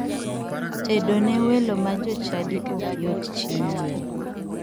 Tedo ne welo ma jochadi ok yot chieng liel.